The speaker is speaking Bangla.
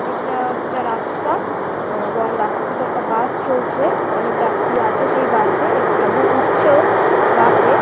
এটা একটা রাস্তা এবং রাস্তা থেকে বাস চলছে অনেক যাত্রী আছে সেই বাস এ এবং একজন উঠছেও বাস এ।